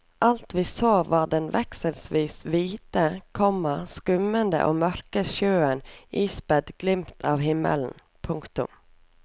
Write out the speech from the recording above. Alt vi så var den vekselvis hvite, komma skummende og mørke sjøen ispedd glimt av himmelen. punktum